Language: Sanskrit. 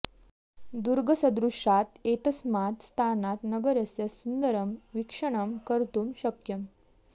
दुर्गसदृशात् एतस्मात् स्थानात् नगरस्य सुन्दरं वीक्षणं कर्तुं शक्यम्